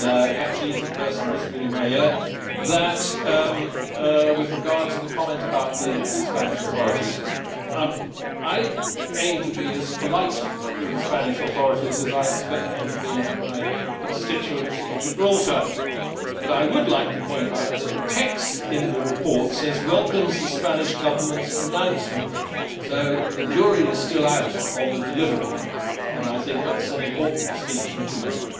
perhaps she is the person whispering in my ear with regard to the comment about the Spanish authorities I aim to be as polite to the Spanish authorities as I expect them to be to my constituents in Gibraltar, but I would like to point out that the text in the report says welcomes the Spanish Government's announcement', so the jury is still out on the delivery and I think that is an important distinction to make.